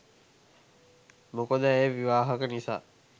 මොකද ඇය විවාහක නිසා.